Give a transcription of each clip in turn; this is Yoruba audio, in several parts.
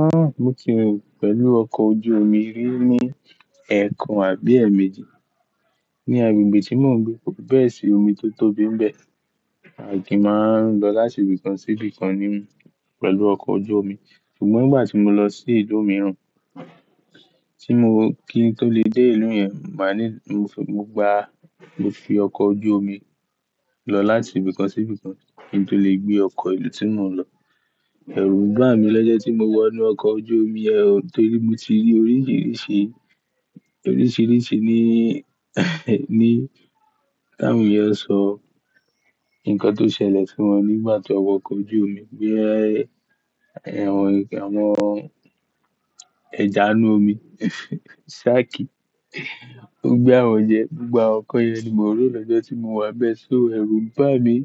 Ah! Mo ti rìn pẹ̀lú ọkọ̀ ojú omi rí ní ẹẹkan àbí ẹẹ̀mẹjì ní agbègbè tí mò ń gbé. Bẹ́ẹ̀ sì omi tó tóbi ń bẹ à de máa ń lọ láti ibìkan sí ibìkan nínú pẹ̀lú ọkọ̀ ojú omi. Ṣùgbọ́n ngbà tí mo lọ sí ìlú mìíràn tí mo kí n tó lè dé ìlú yẹn, màá ní mo fi, mo gba, mo fi ọkọ̀ ojú omi lọ láti ibìkan sí ibìkan kí n tó lè gbé ọkọ̀ ìlú tí mò ń lọ. Ẹ̀rù bà mí lọ́jọ́ tí mo wọ inú ọkọ̀ ojú omi yẹn o, torí mo ti rí oríṣiríṣi, oríṣiríṣi ní, ní, táwon èèyàn sọ, nǹkan tó ṣẹlẹ̀ sí wọn nígbà tí wọ́n wọ ọkọ̀ ojú omi gbé àwọn ẹ̀kẹ, àwọn ẹja inú omi, ṣáàkì ó gbé àwọn jẹ. Ni awọ́n ňkan yẹn ni mò ń rò lọ́jọ́ tí mo wà ńbẹ́ẹ̀. So ẹ̀rù bà mí,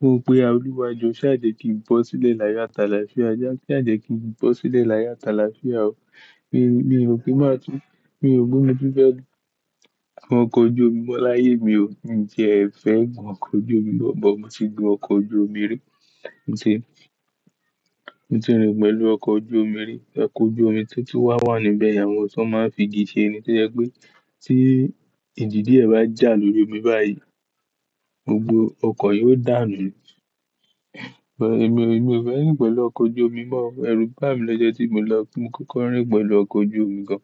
m nwò pè ọ̀lúwa jọ, ṣáà jẹ̀ kí n bọ́ sílẹ̀ láyọ̀ àt'alafia já, ṣáàjẹ̀ kí n bọ́n sílẹ̀ láyọ̀ àt'alafia o. Mi, rò pe máa tún, mi ò ro pe mo tún fẹ́ gun ọkọ̀ ojú omi mọ́ láyé mi o. Hiń tiẹ́ ẹ fẹ́ gun ọkọ̀ ojú omi mọ̀, bọ̀ mo ti gun ọkọ̀ ojú omi rí. Ni, mo ti rìn pẹ̀lú ọkọ̀ ojú omi rí. Ọkọ̀ ojú omi tó ti wá wà níbẹ̀ yẹn àwọn èyí tí wọ́n máa ń fi igi ṣe ẹni tí jẹ́ pé tí ìjì díẹ̀ bá jà lórí omi báyìí, gbogbo ọkọ̀ yóò dànù. Ẹ̀mi, èmi ò fẹ́ rìn pẹ̀lú ọkọ̀ ojú omi mọ́ o. Ẹ̀rù bà mí lọ́jọ́ tí mo lọ ti mo kọ́kọ́ rìn pẹ̀lú ọkọ̀ ojú omi gan.